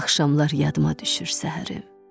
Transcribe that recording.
Axşamlar yadıma düşür səhərim.